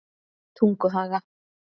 Tunguhaga